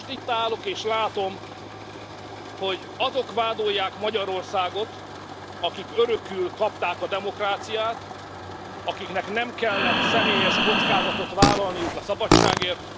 Most itt állok, és látom, hogy azok vádolják Magyarországot, akik örökül kapták a demokráciát, akiknek nem kellett személyes kockázatot vállalniuk a szabadságért.